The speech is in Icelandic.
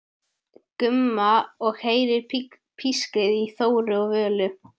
Gumma og heyrir pískrið í Þóru og Völu.